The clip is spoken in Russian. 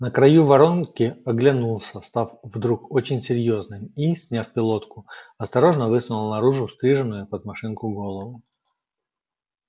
на краю воронки оглянулся став вдруг очень серьёзным и сняв пилотку осторожно высунул наружу стриженную под машинку голову